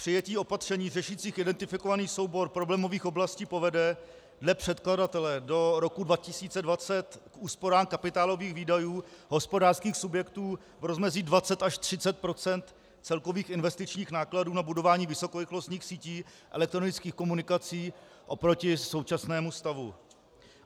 Přijetí opatření řešících identifikovaný soubor problémových oblastí povede dle předkladatele do roku 2020 k úsporám kapitálových výdajů hospodářských subjektů v rozmezí 20 až 30 % celkových investičních nákladů na budování vysokorychlostních sítí elektronických komunikací oproti současnému stavu.